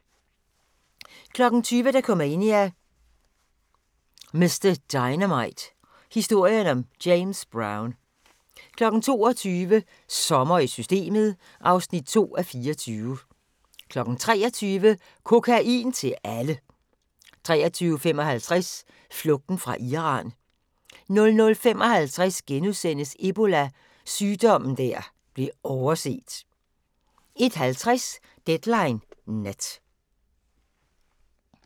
20:00: Dokumania: Mr Dynamite – Historien om James Brown 22:00: Sommer i Systemet (2:24) 23:00: Kokain til alle! 23:55: Flugten fra Iran 00:55: Ebola – sygdommen der blev overset * 01:50: Deadline Nat